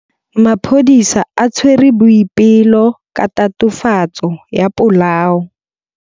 Maphodisa a tshwere Boipelo ka tatofatsô ya polaô.